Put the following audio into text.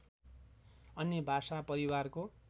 अन्य भाषा परिवारको